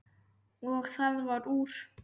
Og það varð úr.